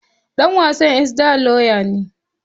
Ɗan’uwan Esther lauya ne.